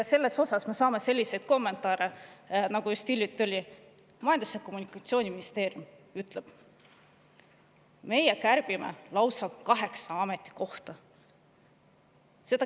Selle kohta me saame selliseid kommentaare, nagu just hiljuti oli Majandus‑ ja Kommunikatsiooniministeeriumil, kes ütles, et meie kärbime lausa kaheksa ametikohta.